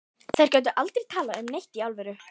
Þær gátu aldrei talað um neitt í alvöru.